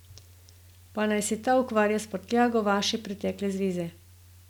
Pa naj se ta ukvarja s prtljago vaše pretekle zveze.